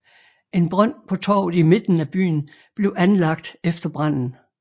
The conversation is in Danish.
En brønd på torvet i midten af byen blev anlagt efter branden